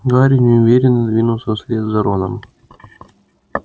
гарри неуверенно двинулся вслед за роном